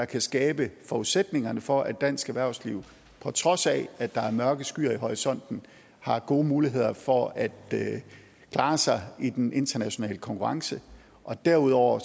kan skabe forudsætningerne for at dansk erhvervsliv på trods af at der er mørke skyer i horisonten har gode muligheder for at at klare sig i den internationale konkurrence og derudover